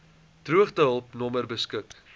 droogtehulp nommer beskik